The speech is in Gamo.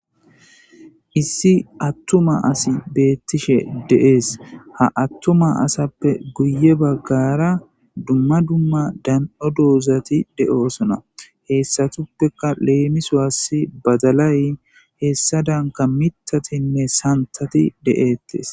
Issi attuma asi beettishe deees ha attuma asappe guye baggara dumma dumma dan'o doozati de'oosona heessatuppeka leemiso asi badalay heessa danka mitatinne santati de'ettes.